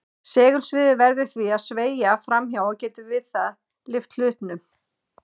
Segulsviðið verður því að sveigja fram hjá og getur við það lyft hlutnum.